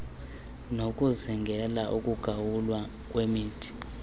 nokuzingela ukugawulwa kwemithi